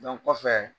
kɔfɛ